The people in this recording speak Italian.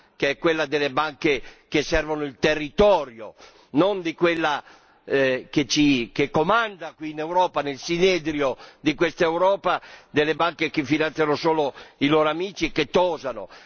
che è quella delle banche che servono il territorio, e non di quella che comanda qui in Europa, nel sinedrio di quest'Europa delle banche che finanziano solo i loro amici e che tosano.